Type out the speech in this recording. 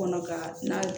Kɔnɔ ka n'a